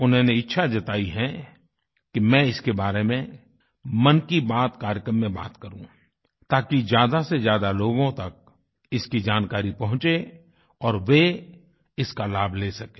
उन्होंने इच्छा जताई है कि मैं इसके बारे में मन की बात कार्यक्रम में बात करूँ ताकि ज्यादा से ज्यादा लोगों तक इसकी जानकारी पहुँचे और वे इसका लाभ ले सकें